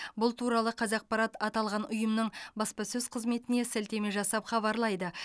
бұл туралы қазақпарат аталған ұйымның баспасөз қызметіне сілтеме жасап хабарлайды